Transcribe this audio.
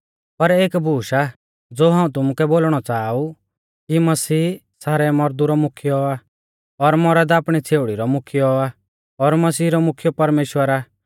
पर एक बूश आ ज़ो हाऊं तुमुकै बोलणौ च़ाहा ऊ कि मसीह सारै मौरदु रौ मुख्यौ आ और मौरद आपणी छ़ेउड़ी रौ मुख्यौ आ और मसीह रौ मुख्यौ परमेश्‍वर आ